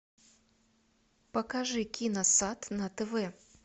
покажи киносад на тв